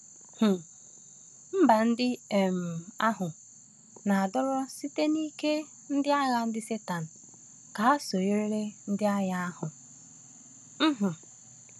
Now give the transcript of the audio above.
um Mba ndị um ahụ na-adọrọ site n’ike ndị agha ndị Satani ka ha sonyere n’agha ahụ. um